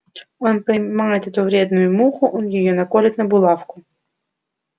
он поймает эту вредную муху он её наколет на булавку